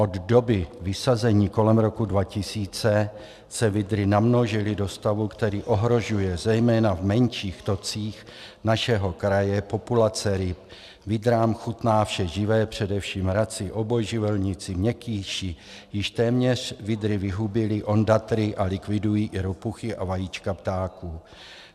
Od doby vysazení kolem roku 2000 se vydry namnožily do stavu, který ohrožuje zejména v menších tocích našeho kraje populace ryb, vydrám chutná vše živé, především raci, obojživelníci, měkkýši, již téměř vydry vyhubily ondatry a likvidují i ropuchy a vajíčka ptáků.